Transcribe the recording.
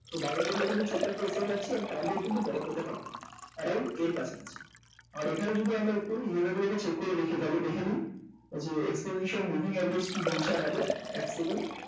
তো buying করলে কিন্তু ছোট্ট একটা effect পাচ্ছি আর target কিন্তু বড় পেতে পারি around এর কাছাকাছি আর এখানে যদি আমরা একটু level গুলোকে check করে দেখি তাহলে দেখে নিই যে exponential average কী বলছে আমাদের এক second